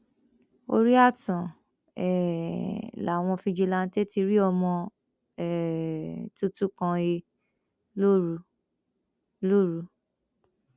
orí ààtàn um làwọn fijilanté ti rí ọmọ um tuntun kan he lóru lóru